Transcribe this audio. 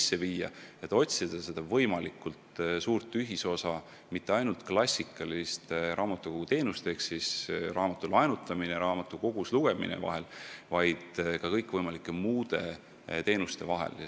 Eesmärk on otsida võimalikult suurt ühisosa mitte ainult klassikaliste raamatukoguteenuste ehk siis raamatute laenutamise ja raamatukogus lugemise vahel, vaid ka kõikvõimalike muude teenuste vahel.